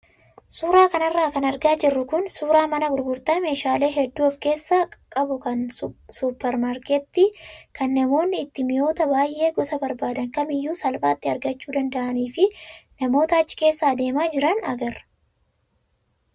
Suuraa kanarra kan argaa jirru kun suuraa mana gurgurtaa meeshaalee hedduu of keessaa qabu kan suupparmaarkeetii kan namoonni itti mi'oota baay'ee gosa barbaadan kamiyyuu salphaatti argachuu danda'anii fi namoota achi keessa adeemaa jiran agarra.